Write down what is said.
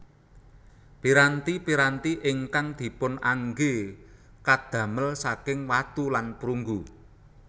Piranti piranti ingkang dipunangge kadamel saking watu lan prunggu